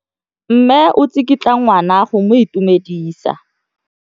Mme o tsikitla ngwana go mo itumedisa.